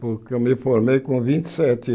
Porque eu me formei com vinte e sete